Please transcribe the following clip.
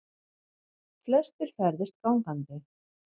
Flestir ferðist gangandi